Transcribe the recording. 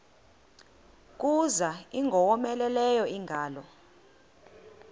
kuza ingowomeleleyo ingalo